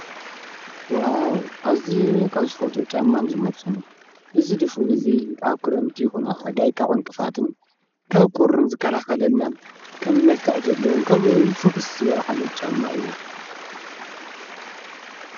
ወው ኣዚ ካብ ዝፈተ ጫማን ዝመርጸን እዩ እዝ ድፉን እዙይ ኣብ ክረምቲ ይኾና ሓጋይ ካብእንቅፋትን ካብ ቊርን ዝካልኸለልናን ከም መልከቕ ዘለዉን ከምኡውን ፍኽስ ዝበል ዓይነት ጫማ እዩ።